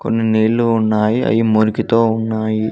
కొన్ని నీళ్లు ఉన్నాయి అయి మురికితో ఉన్నాయి.